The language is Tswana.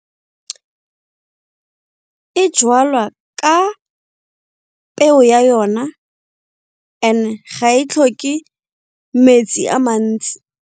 E ka peo ya yona ga e tlhoke metsi a mantsi.